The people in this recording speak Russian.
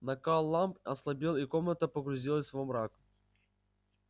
накал ламп ослабел и комната погрузилась во мрак